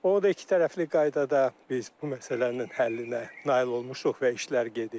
Onu da iki tərəfli qaydada biz bu məsələnin həllinə nail olmuşuq və işlər gedir.